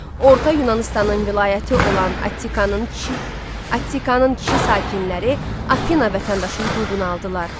Orta Yunanıstanın vilayəti olan Attikanın kişi Attikanın kişi sakinləri Afina vətəndaşı hüququnu aldılar.